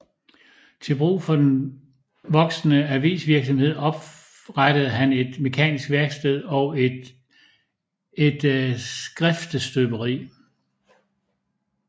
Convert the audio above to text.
Til brug for den voksende avisvirksomhed oprettede han et mekanisk værksted og et skriftestøberi